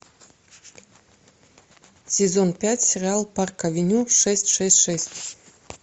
сезон пять сериал парк авеню шесть шесть шесть